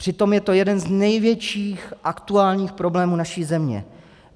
Přitom je to jeden z největších aktuálních problémů naší země.